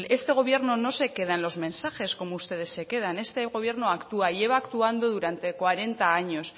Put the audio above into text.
este gobierno no se queda en los mensajes como ustedes se quedan este gobierno actúa lleva actuando durante cuarenta años